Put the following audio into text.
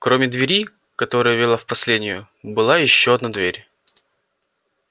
кроме двери которая вела в последнию была ещё одна дверь